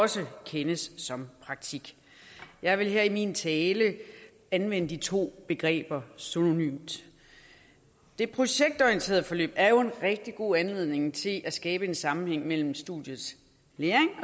også kendes som praktik jeg vil her i min tale anvende de to begreber synonymt det projektorienterede forløb er jo en rigtig god anledning til at skabe sammenhæng mellem studiets læring